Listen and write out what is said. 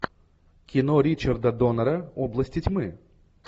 кино ричарда донора области тьмы